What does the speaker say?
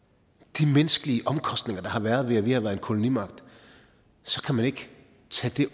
de menneskelige omkostninger der har været ved at vi har været en kolonimagt så kan man ikke tage